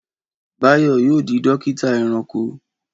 Báyọ̀ yóò di dọ́kítá ẹranko!